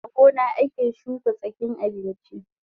A gona ake shuka tsakin abinchi